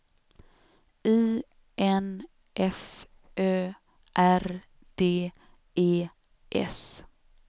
I N F Ö R D E S